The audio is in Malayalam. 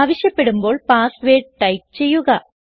ആവശ്യപ്പെടുമ്പോൾ പാസ്വേർഡ് ടൈപ്പ് ചെയ്യുക